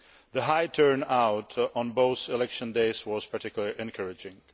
The high turnout on both election days was particularly encouraging.